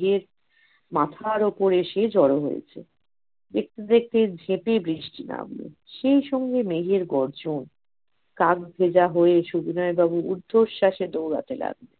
কাক ভেজা হয়ে সুবিনয় বাবু ঊর্ধ্বশ্বাসে দৌড়াতে লাগলেন